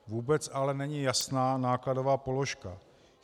Vůbec ale není jasná nákladové položka.